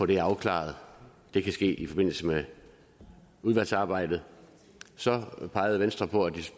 det afklaret og det kan ske i forbindelse med udvalgsarbejdet så pegede venstre på at